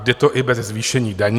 Jde to i bez zvýšení daní."